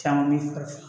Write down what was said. Caman bɛ